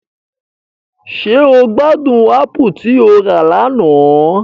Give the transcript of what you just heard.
Ṣe o gbadun apù ti o ra lana?